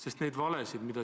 Või ei ole?